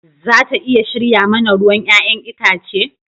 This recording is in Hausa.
Za ta iya shirya mana ruwan 'ya'yan itace?